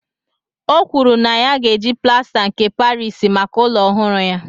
O kwuru na ya ga-eji plasta nke Parisi maka ụlọ ọhụrụ ya